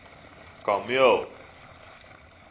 kameel